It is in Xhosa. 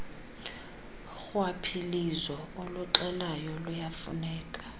rhwaphilizo uluxelayo luyafuneka